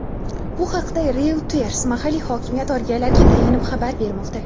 Bu haqda "Reuters" mahalliy hokimiyat organlariga tayanib xabar bermoqda.